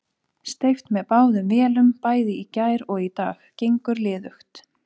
Steypt með báðum vélum bæði í gær og í dag, gengur liðugt.